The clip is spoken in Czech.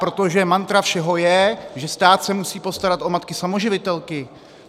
Protože mantra všeho je, že stát se musí postarat o matky samoživitelky.